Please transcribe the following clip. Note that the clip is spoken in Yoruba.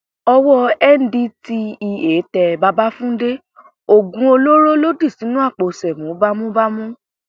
owó ndtea tẹ babatúndé oògùn olóró ló dì sínú àpò ṣẹ̀mó bámúbámú